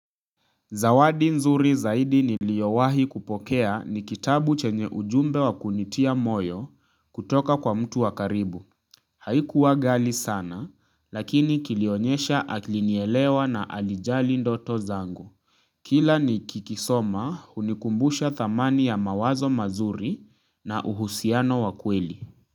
Zawadi nzuri zaidi niliyo wahi kupokea ni kitabu chenye ujumbe wa kunitia moyo kutoka kwa mtu wakaribu. Haikuwa ghali sana lakini kilionyesha alinielewa na alijali ndoto zangu. Kila ni kikisoma hunikumbusha thamani ya mawazo mazuri na uhusiano wa kweli.